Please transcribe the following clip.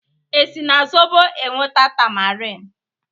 esi na zobo e nweta tamarin?